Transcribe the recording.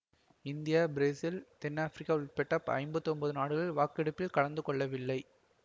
India Brazil தென்னாப்பிரிக்கா உள்பட ஐம்பத்தி ஒன்பது நாடுகள் வாக்கெடுப்பில் கலந்து கொள்ளவில்லை